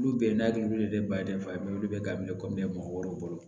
Olu bɛɛ na olu de ye baden fa ye olu bɛ ka ne kɔmi mɔgɔ wɛrɛw bolo